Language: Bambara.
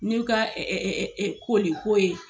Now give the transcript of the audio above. N' ɲe ka koli ko ye.